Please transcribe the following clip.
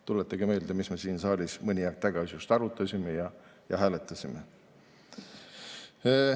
Tuletage meelde, mida me siin saalis just mõni aeg tagasi arutasime ja hääletasime.